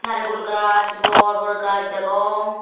narayhul gush bor bor gush degong.